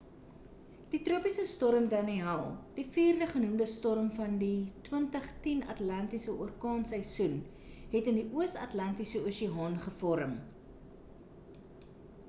die tropiese storm danielle die vierde genoemde storm van die 2010 atlantiese orkaanseisoen het in die oos atlantiese oseaan gevorm